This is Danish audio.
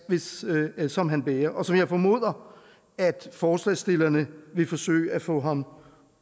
som han bærer og som jeg formoder at forslagsstillerne vil forsøge at få ham